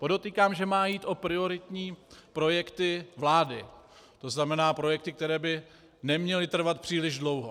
Podotýkám, že má jít o prioritní projekty vlády, to znamená projekty, které by neměly trvat příliš dlouho.